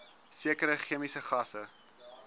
sekere chemiese gasse